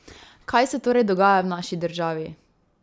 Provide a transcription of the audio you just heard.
Kaj se torej dogaja v naši državi?